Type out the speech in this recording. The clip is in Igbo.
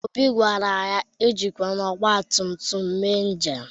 Obi gwara ya e jikwala ọgbatụmtụm eme njem.